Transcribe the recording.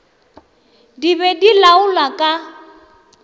di be di laola ka